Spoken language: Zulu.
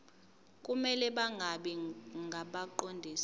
kumele bangabi ngabaqondisi